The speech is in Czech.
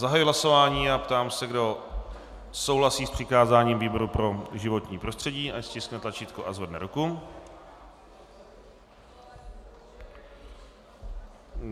Zahajuji hlasování a ptám se, kdo souhlasí s přikázáním výboru pro životní prostředí, ať stiskne tlačítko a zvedne ruku.